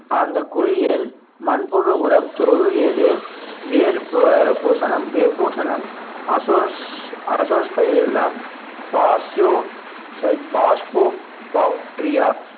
அந்த குளியல் மண்புழு உரம் வேர் பூ~ பூசனம் வே~ பூசனம் அசோஸ் அசோஸ்பைர் இல்லம் பாக்டீரியா